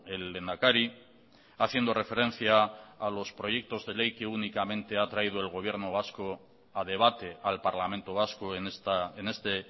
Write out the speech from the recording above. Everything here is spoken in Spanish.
el lehendakari haciendo referencia a los proyectos de ley que únicamente ha traído el gobierno vasco a debate al parlamento vasco en este